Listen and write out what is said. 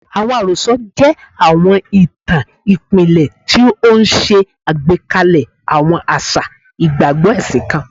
Awọn arosọ jẹ awọn itan ipilẹ ti o ṣe agbekalẹ awọn aṣa igbagbọ ẹsin kan